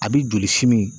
A bi joli simi